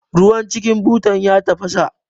Ruwan cikin butan ya tafasa